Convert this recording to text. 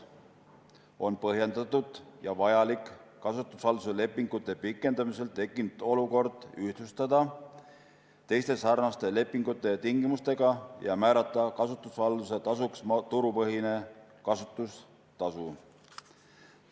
On põhjendatud ja vajalik kasutushalduse lepingute pikendamisel tekkinud olukord ühtlustada teiste sarnaste lepingute ja tingimustega ja määrata kasutushalduse tasuks turupõhine kasutustasu.